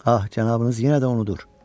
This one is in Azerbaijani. Ah, cənabınız yenə də unudur.